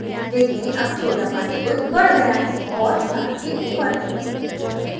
देखें अब छोटा पंचभुज बढ गया है और star के ऊपर है